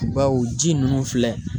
Bawo ji ninnu filɛ